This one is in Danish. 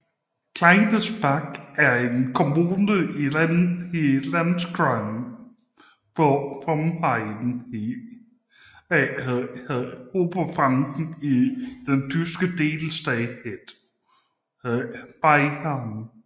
Kleinsendelbach er en kommune i Landkreis Forchheim i Regierungsbezirk Oberfranken i den tyske delstat Bayern